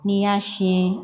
N'i y'a siyɛn